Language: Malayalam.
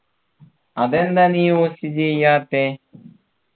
അതെന്താ നീ use ചെയാത്തെ